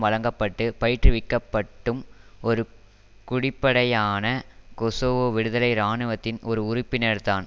வழங்க பட்டு பயிற்றுவிக்கப்பட்டடும் ஒரு குடிப்படையான கொசோவோ விடுதலை இராணுவத்தின் ஒரு உறுப்பினர் தான்